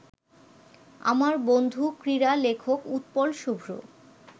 আমার বন্ধু ক্রীড়ালেখক উৎপল শুভ্র